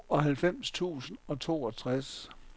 tooghalvfems tusind og toogtres